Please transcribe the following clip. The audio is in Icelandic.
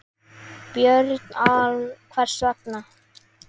Björn: Hvers vegna?